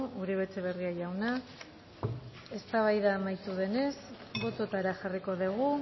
eskerrik asko uribe etxeberria jauna eztabaida amaitu denez botoetara jarriko dugu